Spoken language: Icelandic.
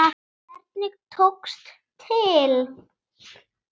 Hvernig tókst til?